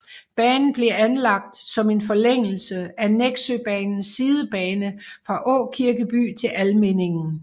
Banen blev anlagt som en forlængelse af Nexøbanens sidebane fra Aakirkeby til Almindingen